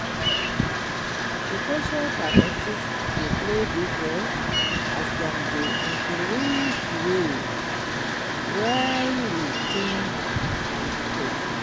di cultural perspectives dey play big role, as dem dey influence di way wey we think and behave.